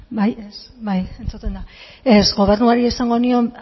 bai entzuten da gobernuari esango nion